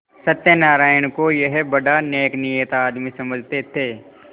सत्यनाराण को यह बड़ा नेकनीयत आदमी समझते थे